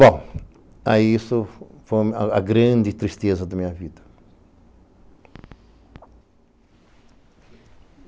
Bom, aí isso foi a grande tristeza da minha vida.